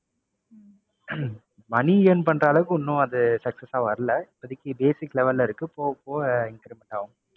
money earn பண்ற அளவுக்கு ஒண்ணும் அது success ஆ வரல. இப்போதைக்கு basic level ல இருக்கு. போக, போக increment ஆகும்.